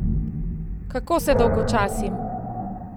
Kako se dolgočasim!